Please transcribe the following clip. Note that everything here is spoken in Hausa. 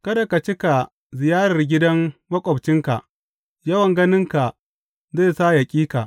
Kada ka cika ziyarar gidan maƙwabcinka yawan ganinka zai sa ya ƙi ka.